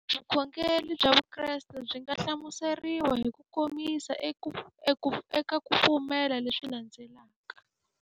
Vukhongeri bya Vukreste byi nga hlamuseriwa hi kukomisa eka ku pfumela leswi landzelaka.